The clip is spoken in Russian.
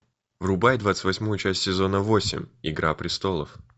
врубай двадцать восьмую часть сезона восемь игра престолов